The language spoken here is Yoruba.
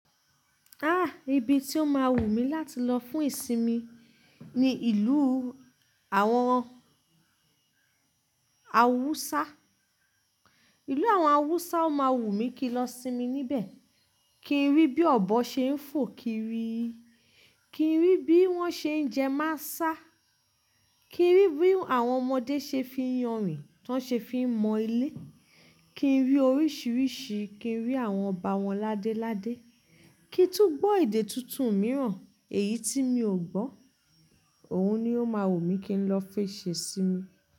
Ah! Ibi tí ó máa wùmí láti lọ fún ìsinmi ni ìlú àwọn Hausa. Ìlú àwọn Hausa ó máa wù mí kí n lọ sinmi níbẹ̀. Kí n rí bí ọ̀bọ ṣe ń fò kiri, kí n rí bí wọ́n ṣe ń jẹ másá, kí n rí bí àwọn ọmọdé ṣe fi ń yànrìn, tán ṣe fi ń mọ ilé, kí n rí oríṣìíríṣìí, kí n rí àwọn ọba wọn ládéládé, kí n tún gbọ́ èdè tuntun mìíràn èyí tí mi ò gbọ́. Òun ni ó máa wùmí kí n lọ fi ṣe sí mi.